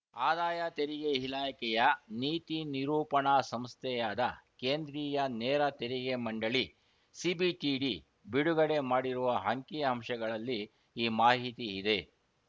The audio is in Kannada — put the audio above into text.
ಆದಾಯ ತೆರಿಗೆ ಇಲಾಖೆಯ ನೀತಿ ನಿರೂಪಣಾ ಸಂಸ್ಥೆಯಾದ ಕೇಂದ್ರೀಯ ನೇರ ತೆರಿಗೆ ಮಂಡಳಿ ಸಿಬಿಡಿಟಿ ಬಿಡುಗಡೆ ಮಾಡಿರುವ ಅಂಕಿಅಂಶಗಳಲ್ಲಿ ಈ ಮಾಹಿತಿ ಇದೆ